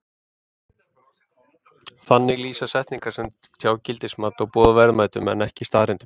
Þannig lýsa setningar sem tjá gildismat og boð verðmætum en ekki staðreyndum.